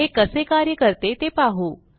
हे कसे कार्य करते ते पाहू